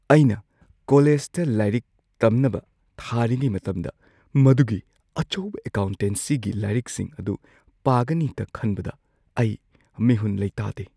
ꯑꯩꯅ ꯀꯣꯂꯦꯖꯇ ꯂꯥꯏꯔꯤꯛ ꯇꯝꯅꯕ ꯊꯥꯔꯤꯉꯩ ꯃꯇꯝꯗ ꯃꯗꯨꯒꯤ ꯑꯆꯧꯕ ꯑꯦꯀꯥꯎꯟꯇꯦꯟꯁꯤꯒꯤ ꯂꯥꯏꯔꯤꯛꯁꯤꯡ ꯑꯗꯨ ꯄꯥꯒꯅꯤꯇ ꯈꯟꯕꯇ ꯑꯩ ꯃꯤꯍꯨꯟ ꯂꯩꯇꯥꯗꯦ꯫